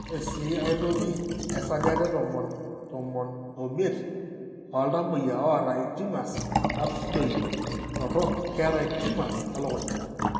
Ore sii aitoki, esajata etomon tomon omiet ooltamuoyia oata intumors rhabdoid torok keeta intumors elukunya.